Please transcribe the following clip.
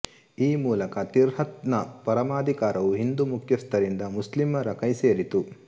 ಈ ಮೂಲಕ ತಿಹ್ರತ್ ನ ಪರಮಾಧಿಕಾರವು ಹಿಂದೂ ಮುಖ್ಯಸ್ಥರಿಂದ ಮುಸ್ಲಿಮರ ಕೈಸೇರಿತು